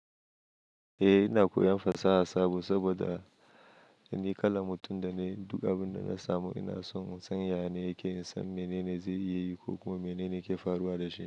Eh ina koyan fasaha sabo saboda ni kalan mutum da duk abin da na samu ina son in san ya ne yake, in san mene ne zai iya yi ko kuma mene ne ke faruwa da shi.